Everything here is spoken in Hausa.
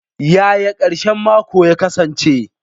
Yaya karshen mako ya kasance?